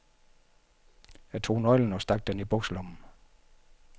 Jeg tog nøglen og stak den i bukselommen.